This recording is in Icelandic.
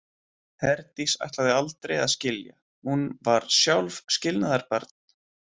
Herdís ætlaði aldrei að skilja, hún var sjálf skilnaðarbarn.